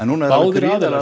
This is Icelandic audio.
báðir aðilar